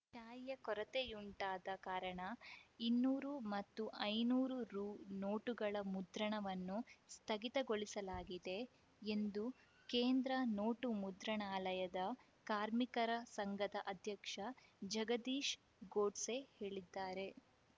ತಾಯಿಯ ಕೊರತೆಯುಂಟಾದ ಕಾರಣ ಇನ್ನೂರು ಮತ್ತು ಐದುನೂರು ರು ನೋಟುಗಳ ಮುದ್ರಣವನ್ನು ಸ್ಥಗಿತಗೊಳಿಸಲಾಗಿದೆ ಎಂದು ಕೇಂದ್ರ ನೋಟು ಮುದ್ರಣಾಲಯದ ಕಾರ್ಮಿಕರ ಸಂಘದ ಅಧ್ಯಕ್ಷ ಜಗದೀಶ್‌ ಗೋಡ್ಸೆ ಹೇಳಿದ್ದಾರೆ